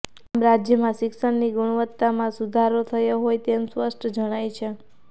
આમ રાજ્યમાં શિક્ષણની ગુણવત્તામાં સુધારો થયો હોય તેમ સ્પષ્ટ જણાય છે